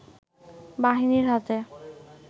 বাহিনীর হাতে